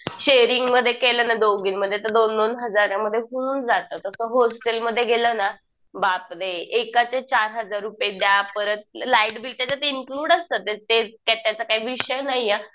Sharing मध्ये केलं ना दोघीं मध्ये तर दोन दोन हजारांमध्ये होऊन जातं. तसं हॉस्टल मध्ये गेलं ना, बापरे एकाचे चार हजार रुपये द्या. परत लाईटबील त्याच्यात इन्क्लुड असतं. ते त्याचा काही विषय नाहीये.